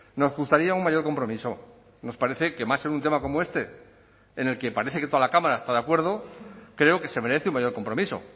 nos gustaría un mayor compromiso nos parece que más en un tema como este en el que parece que toda la cámara está de acuerdo creo que se merece un mayor compromiso